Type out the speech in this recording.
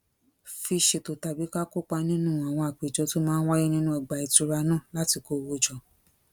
fi ṣètò tàbí ká kópa nínú àwọn àpéjọ tó máa ń wáyé nínú ọgbà ìtura náà láti kó owó jọ